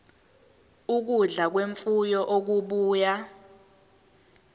ukudla kwemfuyo okubuya